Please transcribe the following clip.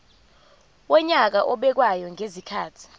wonyaka obekwayo ngezikhathi